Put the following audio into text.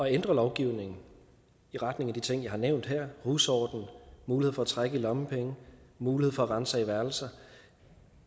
ændre lovgivningen i retning af de ting jeg har nævnt her husorden mulighed for at trække i lommepenge mulighed for at ransage værelser